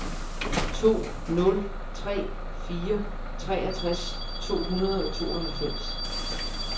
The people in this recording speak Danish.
to nul tre fire treogtres tre hundrede og tooghalvfems